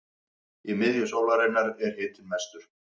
í miðju sólarinnar er hitinn mestur